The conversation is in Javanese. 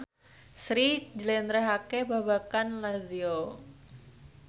Sri njlentrehake babagan Lazio